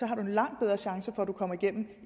har du en langt bedre chance for at komme igennem det